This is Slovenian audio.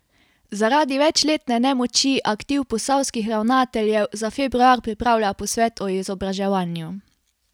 Zaradi večletne nemoči aktiv posavskih ravnateljev za februar pripravlja posvet o izobraževanju.